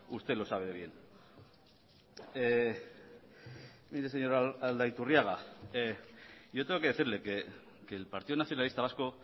usted lo sabe bien mire señor aldaiturriaga yo tengo que decirle que el partido nacionalista vasco